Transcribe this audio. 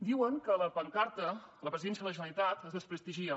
diuen que a la pancarta a la presidència de la generalitat es desprestigia